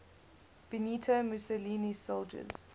benito mussolini's soldiers